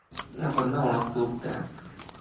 அப்புறம்தான் உனக்கு கூப்பிட்டேன்